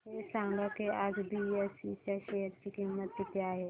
हे सांगा की आज बीएसई च्या शेअर ची किंमत किती आहे